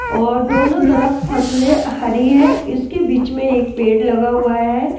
और दोनों तरफ फसलें हरी हैं इसके बीच में एक पेड़ लगा हुआ है ।